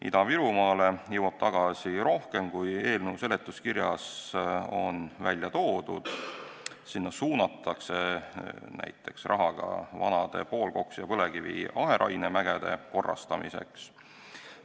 Ida-Virumaale jõuab tagasi rohkem, kui eelnõu seletuskirjas on välja toodud, sinna suunatakse näiteks raha ka vanade poolkoksi ja põlevkivi aheraine mägede korrastamiseks.